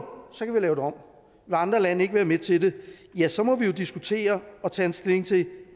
så kan vi lave det om vil andre lande ikke være med til det ja så må vi jo diskutere og tage stilling til